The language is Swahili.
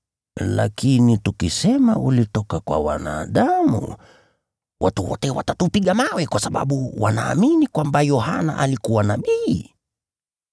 Lakini tukisema, ‘Ulitoka kwa wanadamu,’ watu wote watatupiga mawe, kwa sababu wanaamini kwamba Yohana alikuwa nabii.”